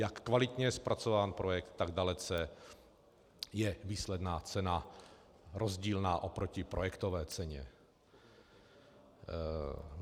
Jak kvalitně je zpracován projekt, tak dalece je výsledná cena rozdílná oproti projektové ceně.